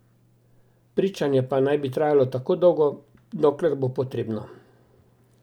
Pričanje pa naj bi trajalo tako dolgo, dokler bo potrebno.